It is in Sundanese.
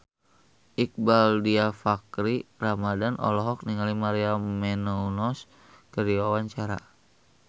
Iqbaal Dhiafakhri Ramadhan olohok ningali Maria Menounos keur diwawancara